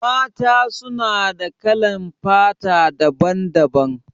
Mata su na da kalan fata daban-daban.